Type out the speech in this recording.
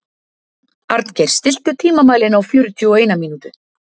Arngeir, stilltu tímamælinn á fjörutíu og eina mínútur.